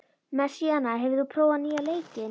Messíana, hefur þú prófað nýja leikinn?